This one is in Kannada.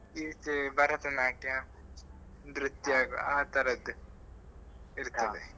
ಈಚೆ ಭರತನಾಟ್ಯ ನೃತ್ಯ ಆತರದ್ದೇ ಇರ್ತದೆ .